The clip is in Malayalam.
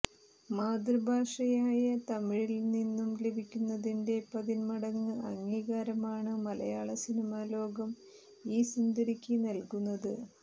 മാതൃഭാഷയായ തമിഴിൽനിന്നു ലഭിക്കുന്നതിന്റെ പതിന്മടങ്ങ് അംഗീകാരമാണ് മലയാള സിനിമാലോകം ഈ സുന്ദരിക്ക് നൽകുന്നത്